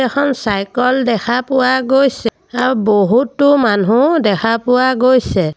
এখন চাইকল দেখা পোৱা গৈছে আৰু বহুতো মানুহ দেখা পোৱা গৈছে।